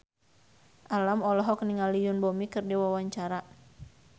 Alam olohok ningali Yoon Bomi keur diwawancara